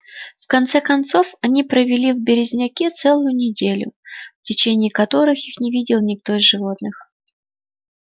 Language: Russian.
в конце концов они провели в березняке целую неделю в течение которых их не видел никто из животных